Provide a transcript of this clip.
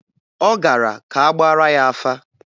Ọ gara ka a gbaara ya afa.